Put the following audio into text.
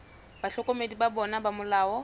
bahlokomedi ba bona ba molao